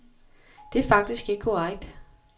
Det er faktisk ikke korrekt.